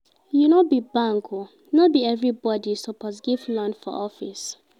You no be bank o, no be everybodi you suppose give loan for office.